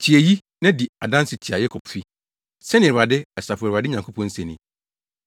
“Tie eyi, na di adanse tia Yakobfi,” sɛnea Awurade, Asafo Awurade Nyankopɔn se ni.